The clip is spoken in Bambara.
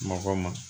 Mɔgɔ ma